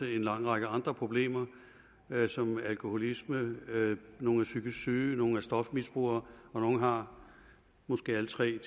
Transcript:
lang række andre problemer såsom alkoholisme nogle er psykisk syge nogle er stofmisbrugere og nogle har måske alle tre